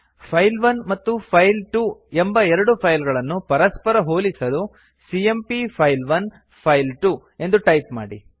file one ಮತ್ತು file two ಎಂಬ ಎರಡು ಫೈಲ್ ಗಳನ್ನು ಪರಸ್ಪರ ಹೋಲಿಸಲು ಸಿಎಂಪಿ ಫೈಲ್1 ಫೈಲ್2 ಎಂದು ಟೈಪ್ ಮಾಡಿ